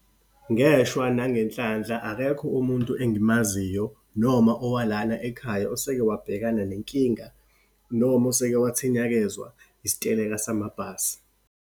Ngeshwa nangenhlanhla, akekho umuntu engimaziyo, noma owalana ekhaya, oseke wabhekana nenkinga, noma oseke wathinyakezwa isiteleka samabhasi.